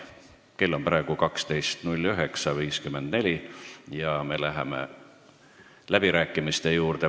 Kell on praegu 12.09.54 ja me läheme läbirääkimiste juurde.